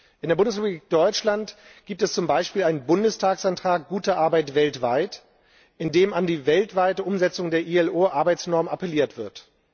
In der Bundesrepublik Deutschland gibt es zum Beispiel einen Bundestagsantrag Gute Arbeit weltweit, in dem an die weltweite Umsetzung der IAO Arbeitsnormen appelliert wird.